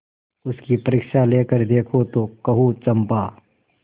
उसकी परीक्षा लेकर देखो तो कहो चंपा